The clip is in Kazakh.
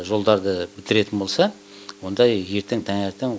жолдарды бітіретін болса онда ертең таңертең